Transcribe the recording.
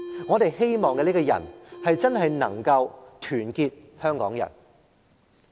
我們希望這個人真正能夠團結香港人。